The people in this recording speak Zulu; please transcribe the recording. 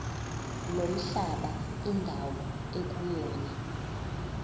nomhlaba indawo ekuyona